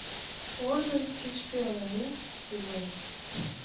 лондонский шпион одиннадцатый сезон